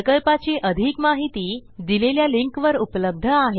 प्रकल्पाची अधिक माहिती दिलेल्या लिंकवर उपलब्ध आहे